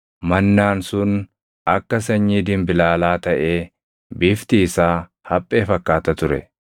Mannaan sun akka sanyii dinbilaalaa taʼee bifti isaa haphee fakkaata ture.